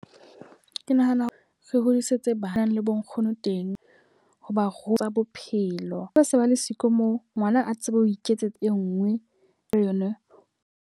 Ke nahana ho re hodisetsa banang le bo nkgono teng ho ba ruta bophelo. Ba se ba le siko moo ngwana a tsebe ho iketsetsa e nngwe le yona.